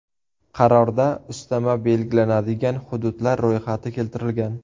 Qarorda ustama belgilanadigan hududlar ro‘yxati keltirilgan.